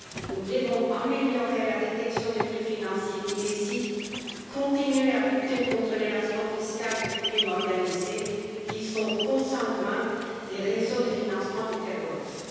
Nous devons améliorer la détection des flux financiers illicites, continuer à lutter contre l'évasion fiscale et les crimes organisés qui sont consanguins des réseaux de financement du terrorisme.